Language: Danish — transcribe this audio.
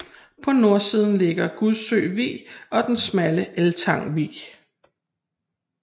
På nordsiden ligger Gudsø Vig og den smalle Eltang Vig